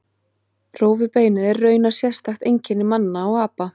Rófubeinið er raunar sérstakt einkenni manna og apa.